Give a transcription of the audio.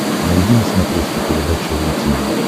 найди на смотрешке передачу ру ти ви